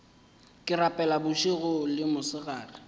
ke rapela bošego le mosegare